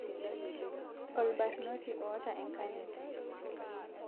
olbarnoti oota enkanyit